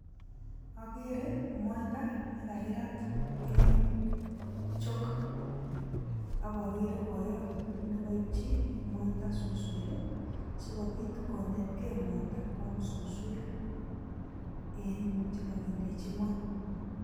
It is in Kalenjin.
Akere moita nekakirat en chok ,akokere boyot nekoipchi moita suswek sikopit konetge moita kwam suswek en chekokindechi ngweny.